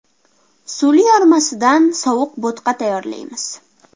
Suli yormasidan sovuq bo‘tqa tayyorlaymiz.